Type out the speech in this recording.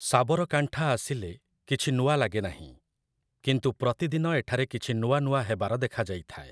ସାବରକାଣ୍ଠା ଆସିଲେ କିଛି ନୂଆ ଲାଗେ ନାହିଁ, କିନ୍ତୁ ପ୍ରତିଦିନ ଏଠାରେ କିଛି ନୂଆ ନୂଆ ହେବାର ଦେଖାଯାଇଥାଏ ।